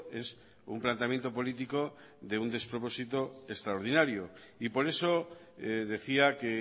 es un planteamiento político de un despropósito extraordinario y por eso decía que